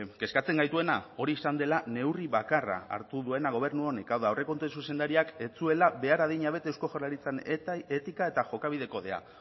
kezkatzen gaituena hori izan dela neurri bakarra hartu duena gobernu honek hau da aurrekontuen zuzendariak ez zuela behar adina bete eusko jaurlaritzan etika eta jokabide kodea